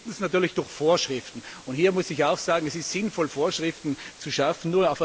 Zum Fünften natürlich Vorschriften, und hier muss ich sagen Es ist sinnvoll, Vorschriften zu schaffen.